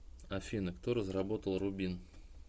афина кто разработал рубин